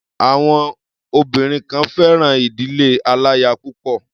Àwọn obìnrin kan fẹ́ràn ìdílé aláya púpọ̀.